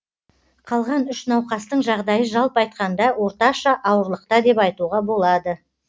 қалған үш науқастың жағдайы жалпы айтқанда орташа ауырлықта деп айтуға болады